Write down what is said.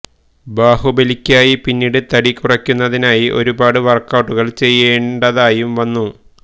ബാഹുബലിക്കായി പിന്നീട് തടി കുറയ്ക്കുന്നതിനായി ഒരുപാട് വര്ക്കൌട്ടുകള് ചെയ്യേണ്ടതായും വന്നു